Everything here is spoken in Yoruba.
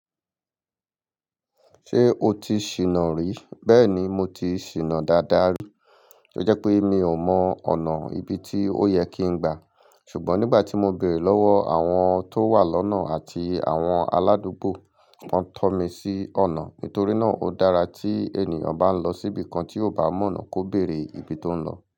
Ṣé o ti ṣìnà rí? Bẹ́ẹ̀ni, mo ti ṣìnà dáadáa rí. Ó jẹ́ pé mi ò mọ ọ̀nà ibi tí ó yẹ kí n gba. Ṣùgbọ́n nígbà tí mo béèrè lọ́wọ́ àwọn tó wà lọ́nà àti àwọn aládùúgbò, wọ́n tọ́ mi sí ọ̀nà. Nítorí náà, ó dára tí ènìyàn bá ń lọ síbi kan tí ó bá mọ̀nà kò béèrè ibi tó ń lọ.